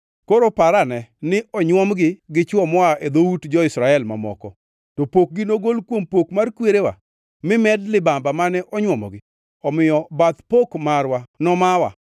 Koro parane ni onywomgi gi chwo moa e dhout jo-Israel mamoko; to pokgi nogol kuom pok mar kwerewa, mi med libamba mane onywomogi. Omiyo bath pok marwa nomawa.